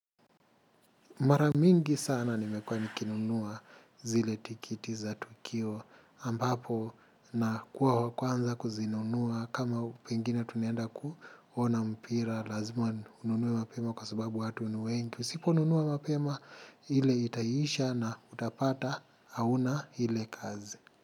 Mara mingi sana nimekuwa nikinunua zile tikiti za tukio ambapo nakuwa wakwanza kuzinunua kama pengine tunaenda kuona mpira lazima ununue mapema kwa subabu watu ni wengi usiponunua mapema. Hile itaisha na utapata hauna hile kazi.